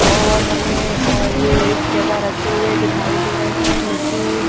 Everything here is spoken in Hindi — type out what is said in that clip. और हमें ये एक जगह रखे हुए दिखाई दे रहे हैं मिट्टी--